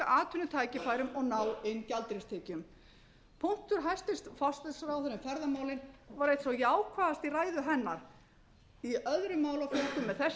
atvinnutækifærum og ná inn gjaldeyristekjum punktur hæstvirtur forsætisráðherra ferðamálin var einn sá jákvæðasti í ræðu hennar í öðrum málaflokkum er þessi